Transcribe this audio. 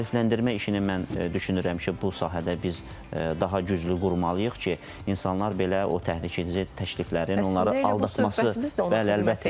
Maarifləndirmə işini mən düşünürəm ki, bu sahədə biz daha güclü qurmalıyıq ki, insanlar belə o təhlükə edici təkliflərin, onları aldatması söhbətimiz də ondan ibarətdir.